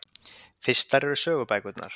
Fyrstar eru sögubækurnar.